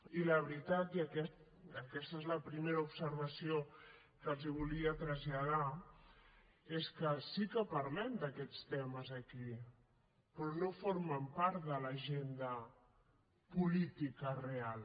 i la veritat i aquesta és la primera observació que els volia traslladar és que sí que parlem d’aquests temes aquí però no formen part de l’agenda política real